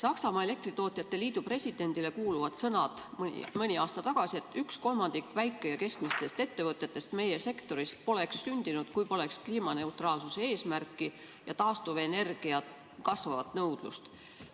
Saksamaa elektritootjate liidu presidendile kuuluvad sõnad – mõni aasta tagasi ta seda ütles –, et üks kolmandik väike- ja keskmistest ettevõtetest meie sektoris poleks sündinud, kui poleks kliimaneutraalsuse eesmärki ja taastuvenergia kasvavat nõudlust.